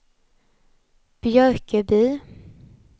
Björköby